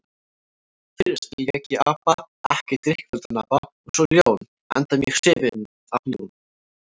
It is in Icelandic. Fyrst lék ég apa, ekki drykkfelldan apa, og svo ljón, enda mjög hrifinn af ljónum.